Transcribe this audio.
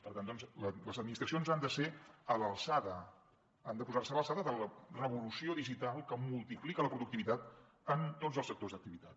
per tant doncs les administracions han de ser a l’alçada han de posar se a l’alçada de la revolució digital que multiplica la productivitat en tots els sectors d’activitat